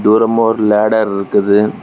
தூரமா ஒரு லேடர் இருக்குது.